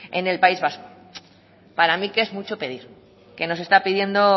en el país vasco para mí que es mucho pedir que nos está pidiendo